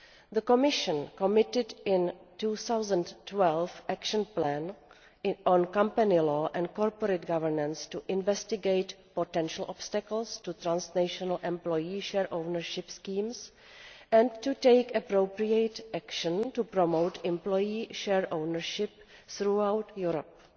The Commission committed in its 2012 Action Plan on company law and corporate governance to investigating potential obstacles to transnational employee share ownership schemes and to taking appropriate action to promote employee share ownership throughout Europe.